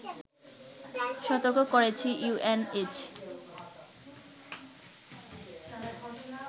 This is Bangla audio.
সতর্ক করেছে ইউএনএইডস